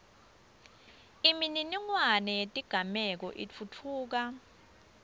imininingwane yetigameko itfutfuka